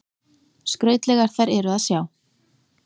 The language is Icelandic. Skrautlegar þær eru að sjá.